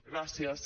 gràcies